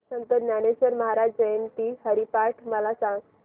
संत ज्ञानेश्वर महाराज जयंती हरिपाठ मला सांग